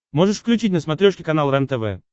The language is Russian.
можешь включить на смотрешке канал рентв